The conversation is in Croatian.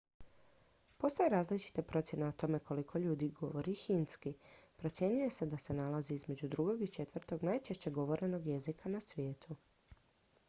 postoje različite procjene o tome koliko ljudi govori hindski procjenjuje se da se nalazi između drugog i četvrtog najčešće govorenog jezika na svijetu